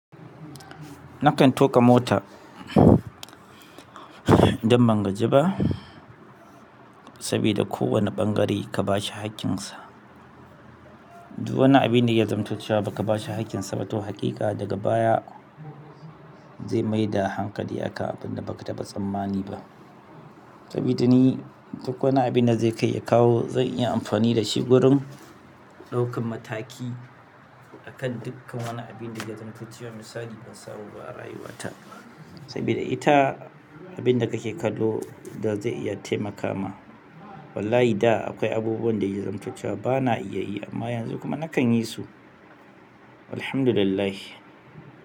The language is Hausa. Nakan tuƙa mota idan ban gaji ba, sabida kowane ɓangare ka bashi haƙƙinsa. Duk wani abin da ya zamto cewa baka bashi haƙƙinsa ba to haƙiƙa daga baya zai maida hankali akan abun da baka taɓa tsammani ba. Sabida ni duk wani abin da zai kai ya kawo zan iya amfani da shi wurin ɗaukan mataki akan dukkan wani abin da ya zamtocewa misali ban samu ba a rayuwata. Sabida ita abin da kake kallo da zai iya taimaka ma. Wallahi da akwai abubuwan da ya zamto cewa bana iya yi amma yanzu kuma nakan yi su. Walhamdulillah.